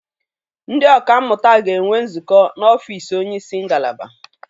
Ndị ọka mmụta ga-enwe nzukọ n'ọfiisi onye isi ngalaba.